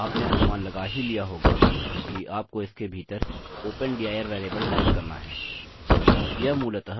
और आपने अनुमान लगा ही लिया होगा कि आपको इसके भीतर open dir वेरिएबल टाइप करना है